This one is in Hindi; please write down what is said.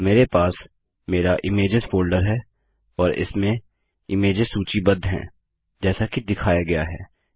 और मेरे पास मेरा इमेज्स फोल्डर है और इसमें इमेज्स सूचीबद्ध हैं जैसा कि दिखाया गया है